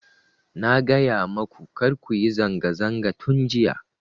Na gaya maku kar kuyi zanga zanga tun jiya